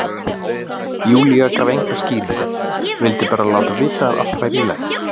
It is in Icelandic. Júlía gaf enga skýringu, vildi bara láta vita að allt væri í lagi.